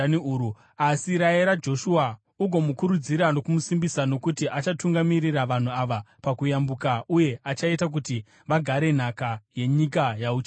Asi rayira Joshua, ugomukurudzira nokumusimbisa nokuti achatungamirira vanhu ava pakuyambuka uye achaita kuti vagare nhaka yenyika yauchaona.”